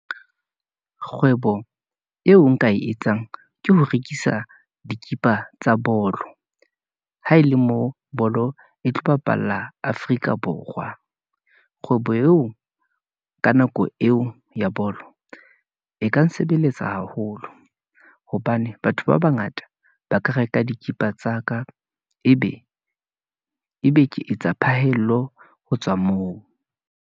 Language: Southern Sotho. Kgwebo eo nka e etsang, ke ho rekisa dikipa tsa bolo , ha e le mo bolo e tlo bapalla Afrika Borwa. Kgwebo eo ka nako eo ya bolo, e ka nsebeletsa haholo, hobane batho ba bangata ba ka reka dikipa tsa ka. Ebe ebe ke etsa phahello ho tswa moo.